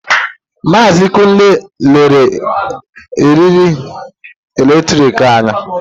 Maazị Kunle lere eriri eletrik anya.